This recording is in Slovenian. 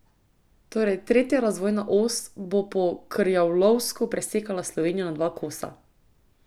Torej, tretja razvojna os bo po krjavlovsko presekala Slovenijo na dva kosa.